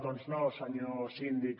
doncs no senyor síndic